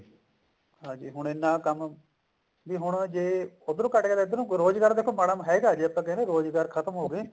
ਹਾਂਜੀ ਹੁਣ ਇੰਨਾ ਕੰਮ ਵੀ ਹੁਣ ਜੇ ਉੱਧਰੋਂ ਘਟ ਗਿਆ ਤਾਂ ਇੱਧਰੋਂ ਰੋਜ਼ਗਾਰ ਦੇਖੋ ਹੈਗਾ ਜੇ ਆਪਾਂ ਕਹਿੰਦੇ ਹਾਂ ਰੋਜ਼ਗਾਰ ਖਤਮ ਹੋਜੇ